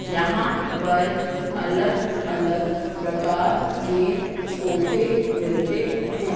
यहां पर अलग अलग प्रकार के सोफे मिलते हैं।